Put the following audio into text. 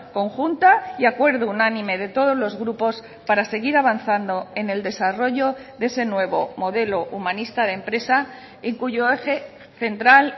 conjunta y acuerdo unánime de todos los grupos para seguir avanzando en el desarrollo de ese nuevo modelo humanista de empresa en cuyo eje central